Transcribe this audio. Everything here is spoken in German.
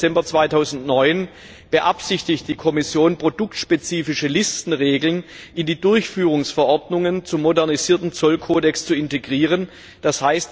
10. Dezember 2009 beabsichtigt die Kommission, produktspezifische Listenregeln in die Durchführungsverordnungen zum modernisierten Zollkodex zu integrieren, d.